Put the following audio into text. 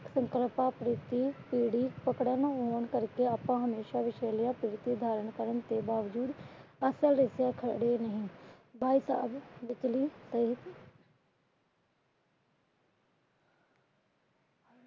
ਆਪ ਹਮੇਸ਼ਾ ਵਿਸ਼ੇਲੀਆਂ ਪ੍ਰਵਰਤੀ ਧਾਰਨ ਕਰਨ ਦੇ ਬਾਵਜੂਦ ਅਸਲ ਵਿਚ ਖੜੇ ਨੀ। ਭਾਈ ਸਾਹਬ